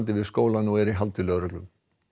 við skólann og er í haldi lögreglu